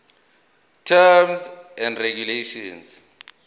terms of regulation